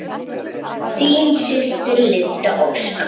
Þín systir, Linda Ósk.